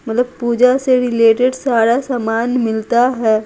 मतलब पूजा से रिलेटेड सारा सामान मिलता है।